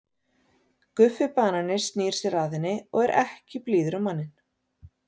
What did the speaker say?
Guffi banani snýr sér að henni og er ekki blíður á manninn.